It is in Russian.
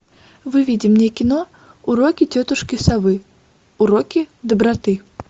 выведи мне кино уроки тетушки совы уроки доброты